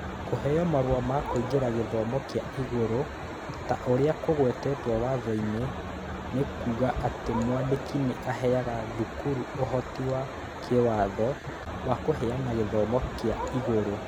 Kũheo marũa ma kũingĩra gĩthomo kĩa igũrũ, ta ũrĩa kũgwetetwo Watho-inĩ, nĩ kuuga atĩ Mwandĩki nĩ aheaga thukuru ũhoti wa kĩĩwatho wa kũheana gĩthomo kĩa igũrũ.